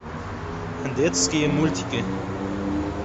детские мультики